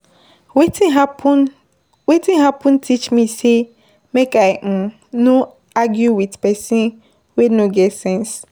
Wetin happen Wetin happen teach me sey make I um no argue wit pesin wey no get sense.